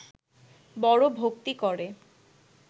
বড় ভক্তি করে